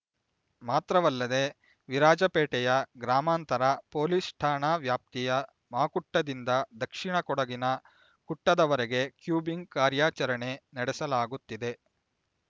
ಮಾತ್ರವಲ್ಲದೆ ವಿರಾಜಪೇಟೆಯ ಗ್ರಾಮಾಂತರ ಪೊಲೀಸ್ ಠಾಣಾ ವ್ಯಾಪ್ತಿಯ ಮಾಕುಟ್ಟದಿಂದ ದಕ್ಷಿಣ ಕೊಡಗಿನ ಕುಟ್ಟದವರೆಗೆ ಕೂಂಬಿಂಗ್ ಕಾರ್ಯಾಚರಣೆ ನಡೆಸಲಾಗುತ್ತಿದೆ